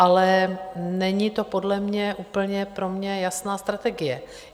Ale není to podle mě úplně pro mě jasná strategie.